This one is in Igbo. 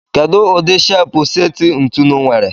Kedu udi shepu seti ntụnụ nwere?